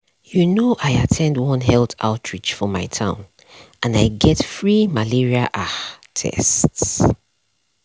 like outreach programs sometimes dey teach simple ways to stay healthy um everyday.